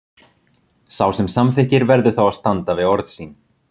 Sá sem samþykkir verður þá að standa við orð sín.